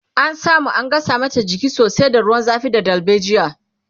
ta samu an gasa mata jiki sosai da ruwan zafi da dalbejia